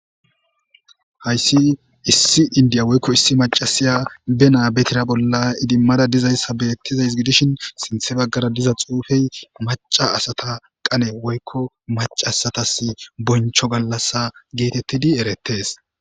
Hayssi issi inddiya woyko maccashiya be naa be tiira bolla idimada dizayssi betawus sintha bagara diza xuufey macca asatas qanne woyko bonchcho gallasi getteti eretees.